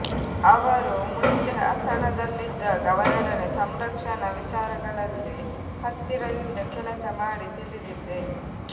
ಅವರು ಮುಂಚೆ ಹಾಸನದಲ್ಲಿದ್ದಾಗ ಅವರೊಡನೆ ಸಂರಕ್ಷಣಾ ವಿಚಾರಗಳಲ್ಲಿ ಹತ್ತಿರದಿಂದ ಕೆಲಸ ಮಾಡಿ ತಿಳಿದಿದ್ದೆ